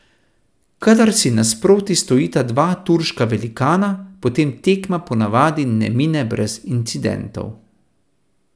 Kadar si nasproti stojita dva turška velikana, potem tekma po navadi ne mine brez incidentov.